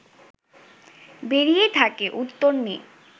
বেরিয়েই থাকে, উত্তর নেই